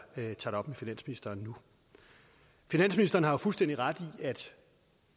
tager finansministeren nu finansministeren har jo fuldstændig ret i at